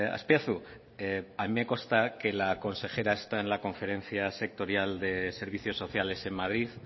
azpiazu a mí me consta que la consejera está en la conferencia sectorial de servicios sociales en madrid